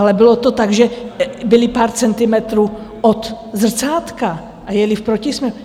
Ale bylo to tak, že byli pár centimetrů od zrcátka a jeli v protisměru.